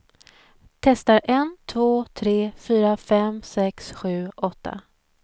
Testar en två tre fyra fem sex sju åtta.